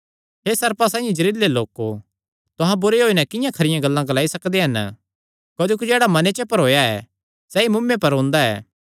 हे सर्पां साइआं जेहरिलै लोको तुहां बुरे होई नैं किंआं खरियां गल्लां ग्लाई सकदे हन क्जोकि जेह्ड़ा मने च भरोया ऐ सैई मुँऐ पर ओंदा ऐ